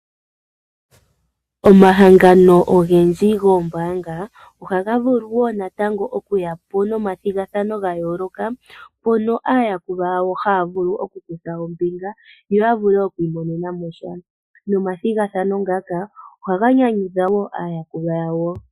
Omahangano ogendji goombanga ohaga vulu okuyapo nomathigathano ga yooloka mpono aayakulwa yawo haya vulu oku kutha ombinga yavule oku imonenamo sha nomathigathano ngaka ohaga nyanyudha aayakulwa yawo.